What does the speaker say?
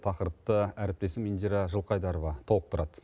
тақырыпты әріптесім индира жылқайдарова толықтырады